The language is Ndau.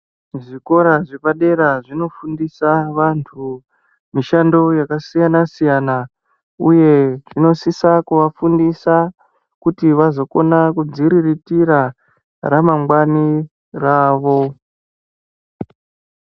Zvikora zveepadera zvinofundisa vanhu mishando yakasiyanasiyana. Uye inosisa kuvafundisa kuti vazokona kuzviriritira ramangwana ravo.